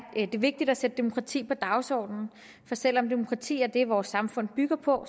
det vigtigt at sætte demokrati på dagsordenen for selv om demokrati er det vores samfund bygger på